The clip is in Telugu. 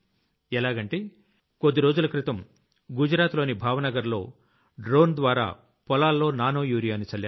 ఎలాగంటే కొద్ది రోజుల క్రితం గుజరాత్ లోని భావ నగర్ లో డ్రోన్ ద్వారా పొలాల్లో నానో యూరియాని చల్లారు